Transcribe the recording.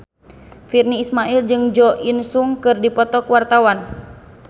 Virnie Ismail jeung Jo In Sung keur dipoto ku wartawan